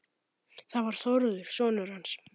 Það var Þórður sonur hans.